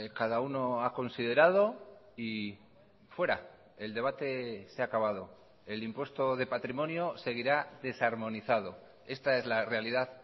cada uno ha considerado y fuera el debate se ha acabado el impuestode patrimonio seguirá desarmonizado esta es la realidad